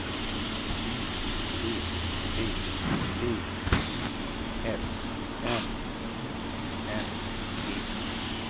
U P P V I S N I N G